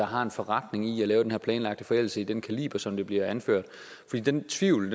har en forretning i at lave den her planlagte forældelse i den kaliber som det bliver anført hvad den tvivl